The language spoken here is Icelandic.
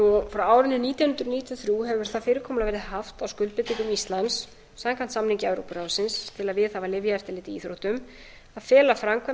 frá árinu nítján hundruð níutíu og þrjú hefur það fyrirkomulag verið haft á skuldbindingum íslands samkvæmt samningi evrópuráðsins til að viðhafa lyfjaeftirlit í íþróttum að fela framkvæmd